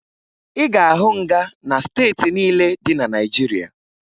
Ị ga-ahụ nga na steeti niile dị na Naịjirịa